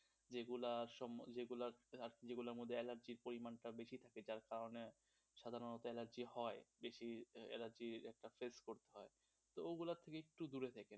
যেগুলার সম্বন্ধে, যেগুলার মধ্যে অ্যালার্জির পরিমাণটা বেশি থাকে যার কারণে সাধারণত অ্যালার্জি হয়, বেশি অ্যালার্জি face করতে হয় তো ওগুলা থেকে একটু দূরে থাকেন.